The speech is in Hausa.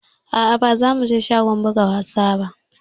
Aa ba za mu je shagon buga wasa ba